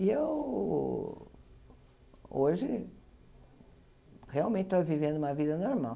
E eu, hoje, realmente estou vivendo uma vida normal.